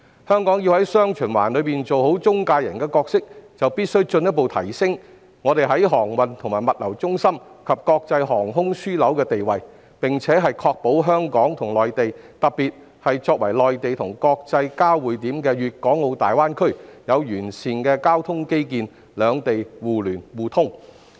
香港要在"雙循環"中做好中介角色，必須進一步提升航運和物流中心及國際航空樞紐的地位，並確保香港與內地之間，特別是作為內地和國際交匯點的粵港澳大灣區，有完善的交通基建，兩地能達致互聯互通。